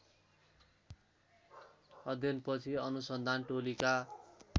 अध्ययनपछि अनुसन्धान टोलीका